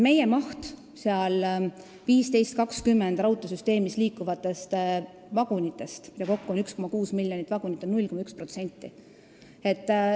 Meie osa 1520-millimeetrises raudteesüsteemis liikuvatest vagunitest, mida kokku on 1,6 miljonit, on 0,1%.